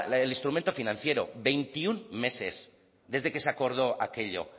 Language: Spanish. el instrumento financiero veintiuno meses desde que se acordó aquello